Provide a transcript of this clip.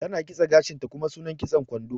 Ta na kitse gashin ta, kuma sunan kitson kwando.